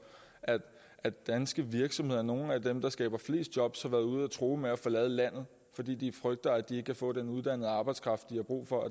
at danske virksomheder nogle af dem der skaber flest jobs har været ude at true med at forlade landet fordi de frygter at de ikke kan få den uddannede arbejdskraft de har brug for